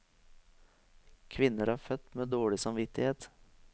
Kvinner er født med dårlig samvittighet.